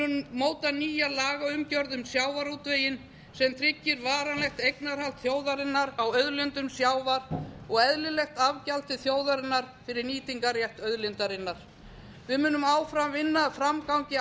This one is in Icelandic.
móta nýja lagaumgjörð um sjávarútveginn sem tryggir varanlegt eignarhald þjóðarinnar á auðlindum sjávar og eðlilegt afgjald til þjóðarinnar fyrir nýtingarrétt auðlindarinnar við munum áfram vinna að framgangi